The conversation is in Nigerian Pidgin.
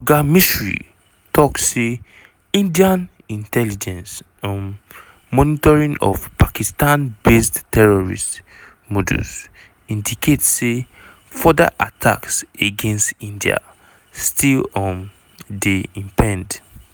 oga misri tok say indian intelligence um monitoring of "pakistan-based terrorist modules" indicate say further attacks against india still um dey impend.